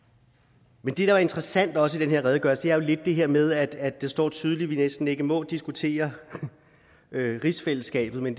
men det der er interessant også i den her redegørelse er lidt det her med at det står tydeligt at vi næsten ikke må diskutere rigsfællesskabet men